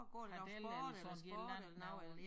Pedeller eller sådan et eller andet noget